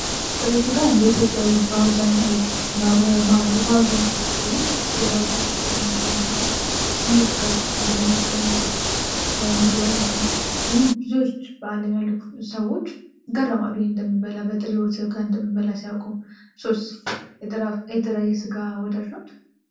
ጥሬ ስጋ እንደ ኢትዮጵያዊ በአብዛኛው ኢትዮጵያዊ ሲበላው ማየት የተለመደ ነው። ልዩ ፍቅር ህዝቡ ለእሱ ያለበት የምግብ ዓይነት ነው። ግን ብዙዎች በአለም ያሉ ሰዎች ይገረማሉ። ይህንን እንደምንበላው በጥሬው ስጋ እንደምንበላ ሲያውቁ። እርሶ የጥሬ ስጋ ወዳጅ ኖት?